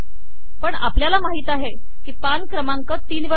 पण आपल्याला माहिती आहे की हे पान क्रमांक तीन वर आहे